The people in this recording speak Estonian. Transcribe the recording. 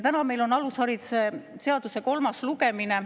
Täna on meil alusharidusseaduse eelnõu kolmas lugemine.